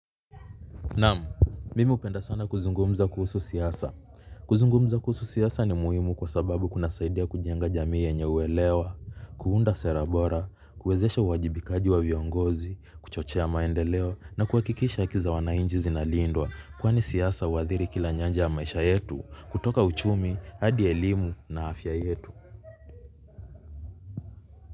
Naam, mimi hupenda sana kuzungumza kuhusu siasa. Kuzungumza kuhusu siasa ni muhimu kwa sababu kunasaidia kujenga jamii yenye uelewa. Kuunda sera bora, kuwezesha uwajibikaji wa viongozi, kuchochea maendeleo na kuhakikisha haki za wanainchi zinalindwa. Kwani siasa huathiri kila nyanja ya maisha yetu, kutoka uchumi, hadi elimu na afya yetu.